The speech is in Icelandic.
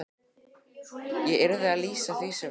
Ég yrði að lýsa því sem væri.